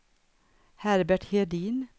Herbert Hedin